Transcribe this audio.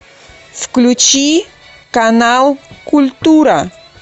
включи канал культура